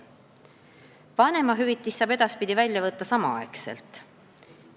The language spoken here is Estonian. Vanemahüvitist saab edaspidi välja võtta samal ajal.